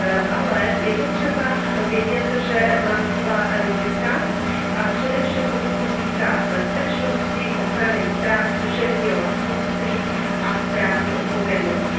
Ale je potřeba vědět, že má svá rizika, a především co se týká bezpečnosti, ochrany práv duševního vlastnictví a právní odpovědnosti.